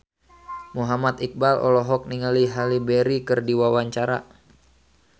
Muhammad Iqbal olohok ningali Halle Berry keur diwawancara